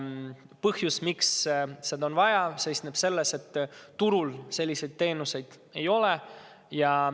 Põhjus, miks seda on vaja, seisneb selles, et turul selliseid teenuseid ei ole.